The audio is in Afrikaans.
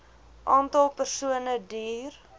aantal persone duur